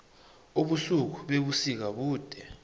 ubusuku bebusika bude